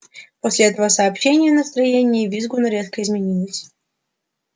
после этого сообщения настроение визгуна резко изменилось